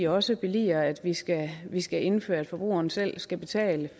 også billiger at vi skal vi skal indføre at forbrugeren selv skal betale